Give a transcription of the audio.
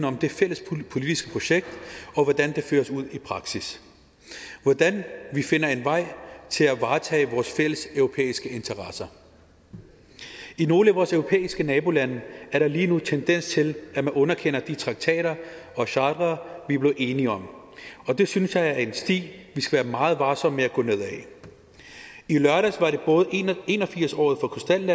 om det fælles politiske projekt og hvordan det føres ud i praksis hvordan vi finder en vej til at varetage vores fælles europæiske interesser i nogle af vores europæiske nabolande er der lige nu en tendens til at man underkender de traktater og chartre vi er blevet enige om og det synes jeg er en sti vi skal være meget varsomme med at gå ned ad i lørdags var det både en og firs årsdagen